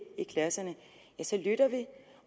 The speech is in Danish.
i klasserne så lytter vi